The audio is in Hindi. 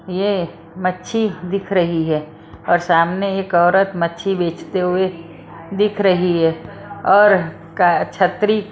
यह मच्छी दिख रही है और सामने एक औरत मच्छी बेचते हुए दिख रही है और छत्री --